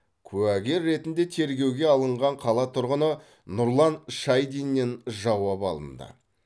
куәгер ретінде тергеуге алынған қала тұрғыны нұрлан шайдиннен жауап алынды